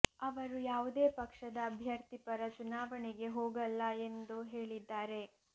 ಅವರು ಯಾವುದೇ ಪಕ್ಷದ ಅಭ್ಯರ್ಥಿ ಪರ ಚುನಾವಣೆಗೆ ಹೋಗಲ್ಲ ಎಂದು ಹೇಳಿದ್ದಾರೆ